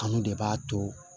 Kanu de b'a to